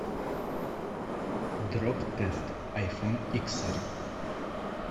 дроп тест айфон иксар